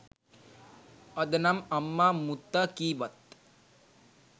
අදනම් අම්මා මුත්තා කීවත්